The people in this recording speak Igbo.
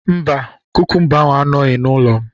Mba, kukumba ahụ anọghị n'ụlọ m